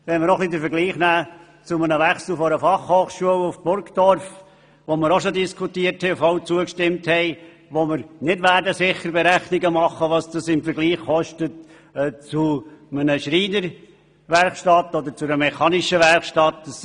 Wir haben auch die Konzentration der BFH beschlossen und werden wohl kaum Berechnungen anstellen, was diese Ausbildungsstätten im Vergleich zu einer Schreiner- oder Mechanikerwerkstatt kosten.